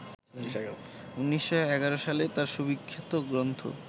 ১৯১১ সালে তাঁর সুবিখ্যাত গ্রন্থ